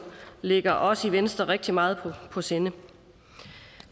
ligger os i venstre rigtig meget på sinde